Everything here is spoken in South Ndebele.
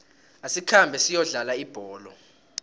asikhambe siyokudlala ibholo